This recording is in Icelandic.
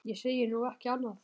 Ég segi nú ekki annað.